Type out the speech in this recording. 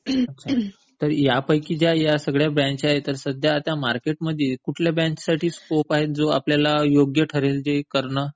ह्यापैकी आता ह्या सगळ्या ब्रँच पैकी मार्केट मध्ये आता सध्या कुठल्या ब्रँच ला स्कोप आहे जो आता आपल्याला योग्य ठरेल करणं?